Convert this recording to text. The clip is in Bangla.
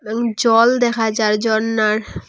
এবং জল দেখা যার জরনার ।